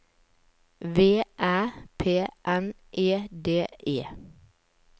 V Æ P N E D E